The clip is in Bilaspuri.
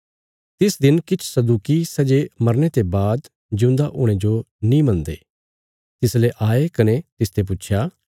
तिस दिन किछ सदूकी सै जे मरने ते बाद जिऊंदा हुणे जो नीं मनदे तिसले आये कने तिसते पुच्छया